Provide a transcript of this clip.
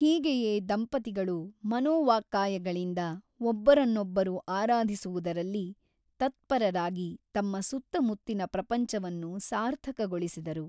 ಹೀಗೆಯೇ ದಂಪತಿಗಳು ಮನೋವಾಕ್ಕಾಯಗಳಿಂದ ಒಬ್ಬರನ್ನೊಬ್ಬರು ಆರಾಧಿಸುವುದರಲ್ಲಿ ತತ್ಪರರಾಗಿ ತಮ್ಮ ಸುತ್ತಮುತ್ತಿನ ಪ್ರಪಂಚವನ್ನು ಸಾರ್ಥಕಗೊಳಿಸಿದರು.